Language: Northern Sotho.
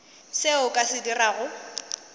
seo o ka se dirago